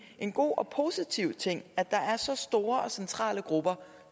en god og positiv ting at der er så store og centrale grupper